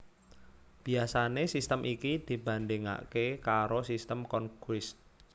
Biasané sistem iki dibandhingaké karo Sistem Cronquist